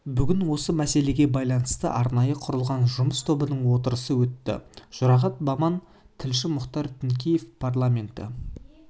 бүгін осы мәселеге байланысты арнайы құрылған жұмыс тобының отырысы өтті жұрағат баман тілші мұхтар тінікеев парламенті